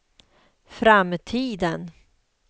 framtiden